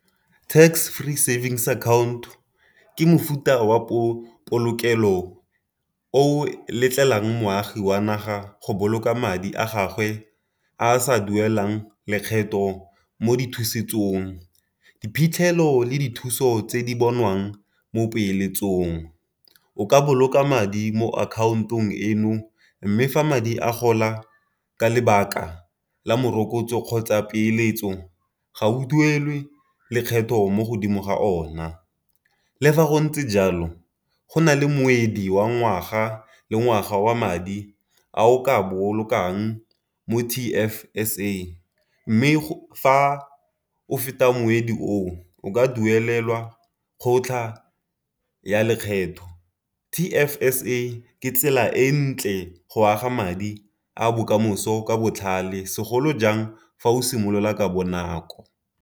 Tax free savings account ke mofuta wa polokelo o letlelang moagi wa naga go boloka madi a gagwe a a sa duelang lekgetho mo dithusetsong. Diphitlhelo le dithuso tse di bonwang mo dipeeletsong. O ka boloka madi mo akhaontong eno mme fa madi a gola ka lebaka la morokotso kgotsa peeletso ga o duelwe lekgetho mo godimo ga ona. Le fa go ntse jalo go na le mowedi wa ngwaga le ngwaga wa madi a o ka bolokang mo T_F_S_A, mme fa o feta mowedi o ka duelelwa kgotlha ya lekgetho. T_F_S_A ke tsela e ntle go aga madi a bokamoso ka botlhale, segolo jang fa o simolola ka bonako.